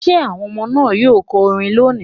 Will the children sing a chant today?